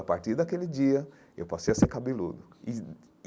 A partir daquele dia, eu passei a ser cabeludo e.